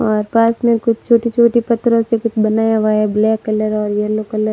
और पास में कुछ छोटी-छोटी पत्थरों से कुछ बनाया हुआ है ब्लैक कलर और येलो कलर --